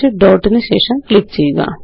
നു ശേഷം ക്ലിക്ക് ചെയ്യുക